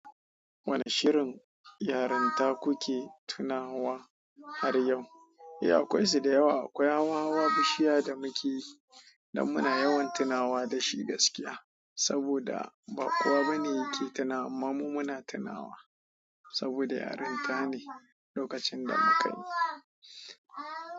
Wane shirinnyarinya ta kiluke tunawa hae yau ehh akwai su dayawa akwai hawa bishiya da muke, danmuna yawan tunawa da shi gaskiya. Saboda babkowa bane yake tunawa amma mu muna tunawa saboda yarinta ne lokacin da mukayi.